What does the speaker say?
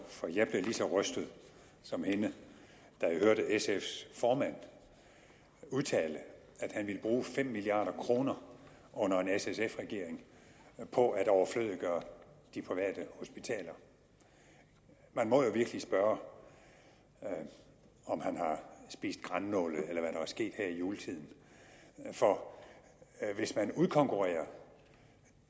for jeg blev lige så rystet som hende da jeg hørte sfs formand udtale at han ville bruge fem milliard kroner under en s sf regering på at overflødiggøre de private hospitaler man må jo virkelig spørge om han har spist grannåle eller er sket her i juletiden for hvis man udkonkurrerer